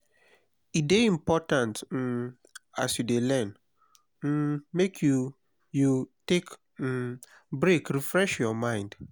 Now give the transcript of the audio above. e de important um as you de learn um make you you take um break refresh your mind